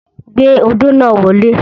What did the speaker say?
Gbé odó náà wọlé.